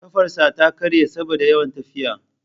Kafarsa ta karye saboda yawan tafiya.